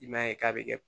I m'a ye k'a bɛ kɛ